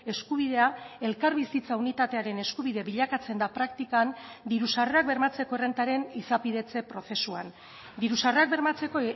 eskubidea elkarbizitza unitatearen eskubide bilakatzen da praktikan diru sarrerak bermatzeko errentaren izapidetze prozesuan diru sarrerak bermatzeko